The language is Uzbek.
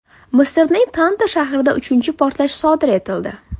Misrning Tanta shahrida uchinchi portlash sodir etildi.